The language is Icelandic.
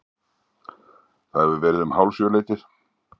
Það hefur verið um hálfsjöleytið.